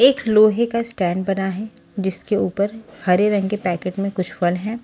एक लोहे का स्टैंड बना है जिसके ऊपर हरे रंग के पैकेट में कुछ फल हैं।